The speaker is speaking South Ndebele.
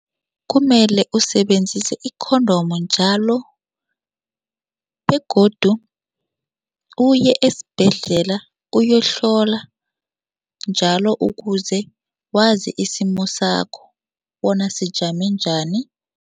Kumele usebenzise i-condom njalo begodu uye esibhedlela uyohlola njalo ukuze wazi isimo sakho bona sijame njani.